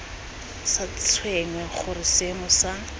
sa tshwenye gore seemo sa